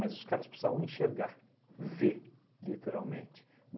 os caras precisavam enxergar, ver, literalmente.